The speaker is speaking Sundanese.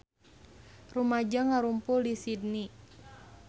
Rumaja ngarumpul di Sydney